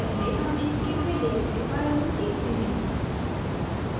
पहले हम inkscape में layers के बारे में सीखते हैं